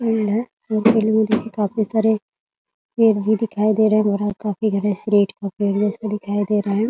Field है field में देखिए काफी सारे पेड़ भी दिखाई दे रहे है। काफी बड़े दिखाई दे रहे है।